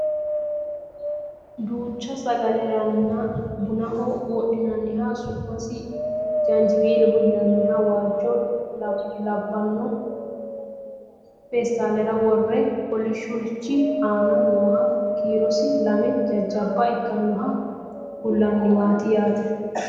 Duucha sagaleranna bunaho wodhinanniha su'masi jaanjiweeloho yinanniha waajjo labbanno peestaalera worre kolishshurichi aana nooha kiirosi lame jajjabba ikkinoha kullanniwaati yaate